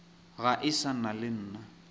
ga e sa le nna